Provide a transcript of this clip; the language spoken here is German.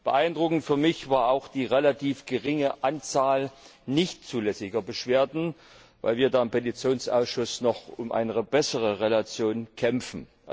Beeindruckend für mich war auch die relativ geringe Anzahl nicht zulässiger Beschwerden, weil wir im Petitionsausschuss noch um eine bessere Relation kämpfen.